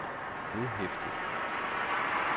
vedhæftet